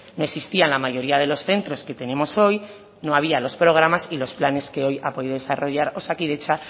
no existían la mayoría de los centros que tenemos hoy no había los programas y los planes que hoy ha podido desarrollar osakidetza